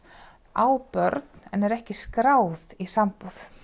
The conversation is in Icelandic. á börn en er ekki skráð í sambúð